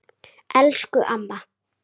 Elsku amma!